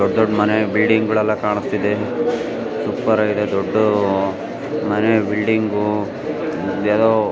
ದೊಡ್ ದೊಡ್ಡ ಮನೆ ಬಿಲ್ಡಿಂಗ್ ಗಳೆಲ್ಲ ಕಾಣಿಸ್ತಿದೆ. ಸೂಪರ್ ಆಗಿದೆ ದೊಡ್ಡು ಮನೆ ಬಿಲ್ಡಿಂಗ್ ಯಾವದೋ ---